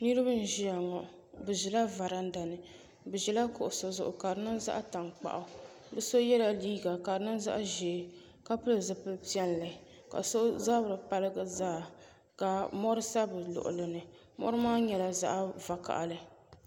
Niriba n ʒia ŋɔ bɛ ʒila varanda ni bɛ ʒila kuɣusi zuɣu ka di niŋ zaɣa tankpaɣu bɛ so yela liiga ka di nyɛ zaɣa ʒee ka pili zipil'piɛlli ka so zabri paligi zaa ka mori sa bɛ luɣuli ni mori maa nyɛla zaɣa vakahali.